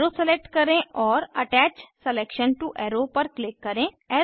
arrow select करें और attach selection to arrow पर क्लिक करें